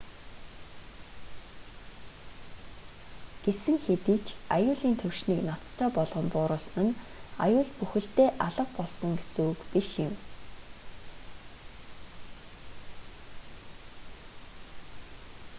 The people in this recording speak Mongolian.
гэсэн хэдий ч аюулын түвшнийг ноцтой болгон бууруулсан нь аюул бүхэлдээ алга болсон гэсэн үг биш юм